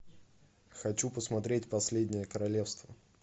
хочу посмотреть последнее королевство